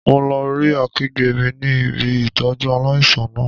Mo lo rí akẹgbẹ́ mi ní ibi Ìtọ́jú aláìsàn náà.